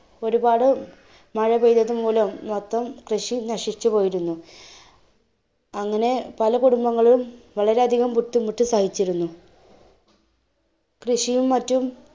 ഒരുപാട് മഴ പെയ്‌തത്‌ മൂലം മൊത്തം കൃഷി നശിച്ചു പോയിരുന്നു. അങ്ങനെ പല കുടുംബങ്ങളും വളരെയധികം ബുദ്ധിമുട്ട് സഹിച്ചിരുന്നു. കൃഷിയും മറ്റും